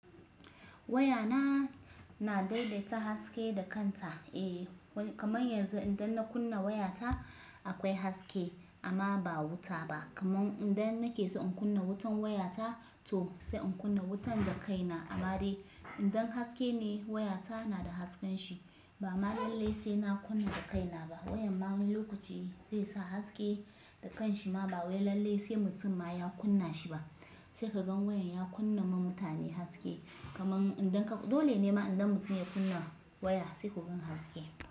Waya na, na daidaita haske da kanta. Eh kaman yanzu idan na kunna waya ta akwai haske amma ba wuta ba. Kaman idan nake so in kunna wutan waya ta to sai in kunna wutan da kai na. Amma dai idan haske ne waya ta na da hasken shi bama lallai sai na kunna da kai na ba. Wayan ma wani lokaci zai sa haske da kan shi ma ba wai lallai sai mutum ma ya kunna shi ba. Sai ka gan wayan ya kunna ma mutane haske. Kaman idan ka, dole ne ma idan mutum ya kunna waya sai ku ga haske.